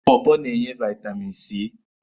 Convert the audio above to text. Pọọpọọ na-enye vaitamini C.